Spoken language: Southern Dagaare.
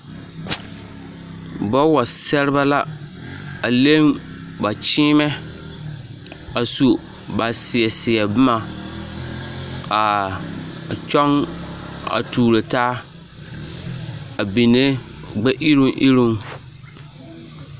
Bawa sɛrebɛ la a leŋ ba kyeemɛ a su ba seɛ seɛ boma aa a kyɔŋ a tuuro taa a benne gbɛ iruŋ iruŋ.